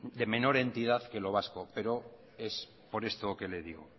de menor entidad que lo vasco pero es por esto que le digo